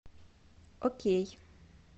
окей